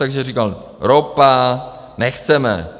Takže říkal: Ropa, nechceme.